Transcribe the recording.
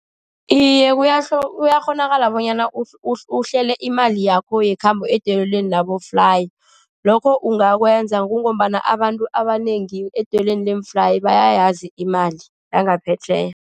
Iye, kuyakghonakala bonyana uhlele imali yakho yekhambo edoyelweni aboflayi. Lokho ungakwenza ngombana abantu abanengi edoyelweni leemflayi bayayazi imali zangaphetjheya.